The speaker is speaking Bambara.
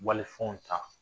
Walifɛnw ta